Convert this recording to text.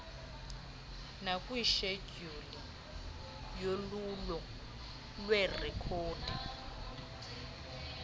nakwishedyuli yolwulo lweerekhodi